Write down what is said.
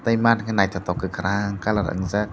tei mat naitotok ke kakorang colour wngjak.